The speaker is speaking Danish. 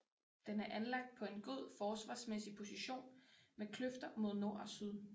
Den er anlagt på en god forsvarsmæssig position med kløfter mod nord og syd